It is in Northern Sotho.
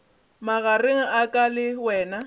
magareng a ka le wena